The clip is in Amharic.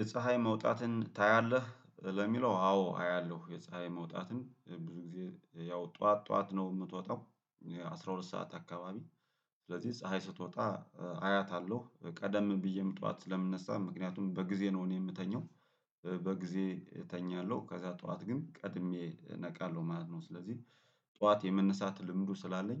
የፀሀይ መውጣትን ታያለህ ለሚለው አዎ አያለሁ የፀሀይ መውጣትን ብዙ ጊዜ ያው ጠዋት ጠዋት ነው የምትወጣው። አስራ ሁለት ሰዓት አካባቢ። ስለዚህ ፀሀይ ስትወጣ አያታለሁ ቀደም ብዬም ጠዋት ስለምነሳ ምክንያቱም በጊዜ ነው እኔ የምተኛው። በጊዜ እተኛለሁ ከዚያ ጠዋት ግን ቀድሜ እነቃለሁ ማለት ነው ስለዚህ ጠዋት የመነሳት ልምዱ ስላለኝ